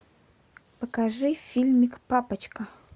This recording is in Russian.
покажи фильмик папочка